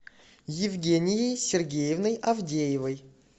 евгенией сергеевной авдеевой